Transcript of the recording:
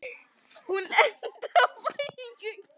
Hún endaði á fæðingu.